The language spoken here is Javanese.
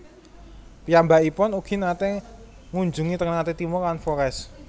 Piyambakipun ugi naté ngunjungi Ternate Timor lan Flores